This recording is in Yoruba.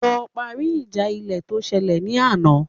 Lọ parí ìjà ilẹ̀ tó ṣẹlẹ̀ ní àná